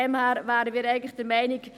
Daher wären wir eigentlich der Meinung: